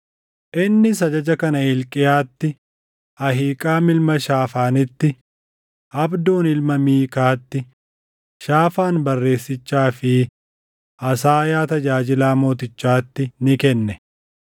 Innis ajaja kana Hilqiyaatti, Ahiiqaam ilma Shaafaanitti, Abdoon ilma Miikaatti, Shaafaan barreessichaa fi Asaayaa tajaajilaa mootichaatti ni kenne: